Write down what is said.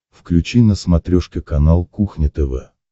включи на смотрешке канал кухня тв